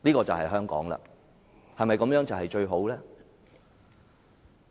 這對香港是否最好呢？